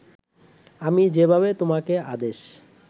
আমি যেভাবে তোমাকে আদেশ